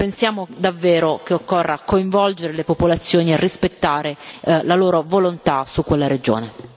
Pensiamo davvero che occorra coinvolgere le popolazioni e rispettare la loro volontà su quella regione.